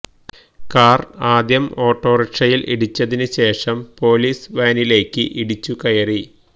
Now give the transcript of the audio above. കാര് ആദ്യം ഓട്ടോറിക്ഷയില് ഇടിച്ചതിന് ശേഷം പോലീസ് വാനിലേക്ക് ഇടിച്ചു കയറി